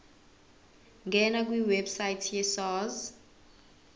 ngena kwiwebsite yesars